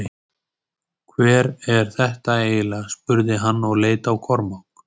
Hver er þetta eiginleg spurði hann og leit á Kormák.